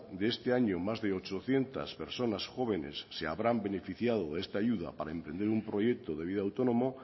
de este año más de ochocientos personas jóvenes se habrán beneficiado de esta ayuda para emprender un proyecto de vida autónomo